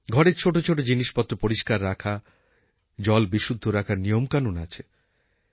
ঘরের ছোট ছোট জিনিসপত্র পরিষ্কার রাখা জল বিশুদ্ধ রাখার নিয়মকানুন আছে